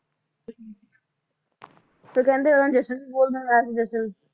ਤੇ ਕਹਿੰਦੇ ਉਹਨਾ ਜਸ਼ਨ ਬਹੁਤ ਮਨਾਇਆ ਜਸ਼ਨ